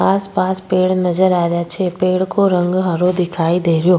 आस पास पेड़ नजर आ रहिया छे पेड़ को रंग हरो दिखाई दे रहियो --